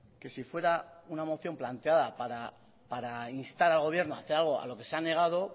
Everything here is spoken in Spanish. que si fuera una moción planteada para instar al gobierno a hacer algo a lo que se ha negado